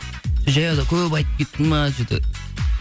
жаяуды көп айттып кеттім бе че то